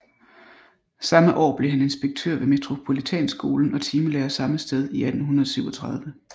Samme år blev han inspektør ved Metropolitanskolen og timelærer samme sted i 1837